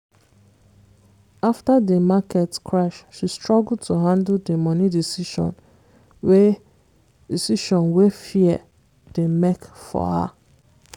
after di market crash she struggle to handle di money decision wey decision wey fear dey make for her.